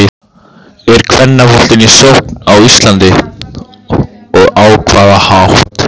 Er kvennaboltinn í sókn á Íslandi og á hvaða hátt?